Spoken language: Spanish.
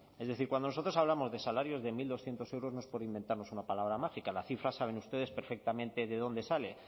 es decir cuando nosotros hablamos de salarios de mil doscientos euros nos por inventarnos una palabra mágica la cifra saben ustedes perfectamente de dónde sale